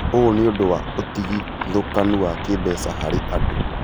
Ũũ nĩũndũ wa ũtigithũkanu wa kĩmbeca harĩ andũ